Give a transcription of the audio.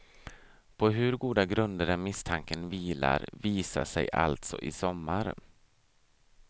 På hur goda grunder den misstanken vilar visar sig alltså i sommar.